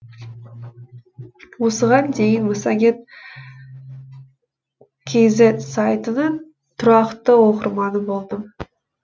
осыған дейін массагет кз сайтының тұрақты оқырманы болдым